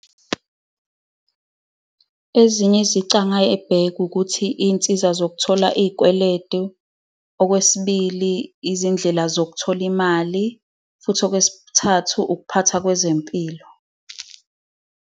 Ezinye izici angayibheka ukuthi iy'nsiza zokuthola izikweletu, okwesibili, izindlela zokuthola imali, futhi okwesithathu, ukuphathwa kwezempilo.